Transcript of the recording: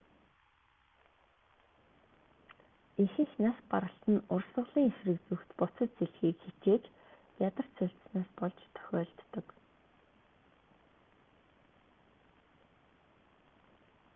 ихэнх нас баралт нь урсгалын эсрэг зүгт буцаж сэлэхийг хичээж ядарч сульдсанаас болж тохиолддог